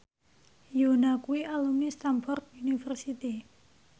Yoona kuwi alumni Stamford University